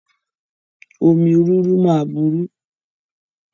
Omi rúru ma buru